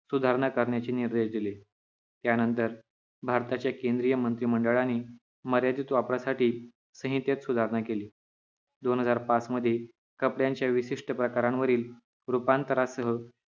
सुधारणा करण्याची निर्देश दिले त्यानंतर भारताच्या केंद्रीय मंत्रिमंडळाने मर्यादित वापरासाठी संहितेत सुधारणा केली दोन हजार पाच मधे कपड्याच्या विशिष्ट प्रकारांवरील रूपांतरासह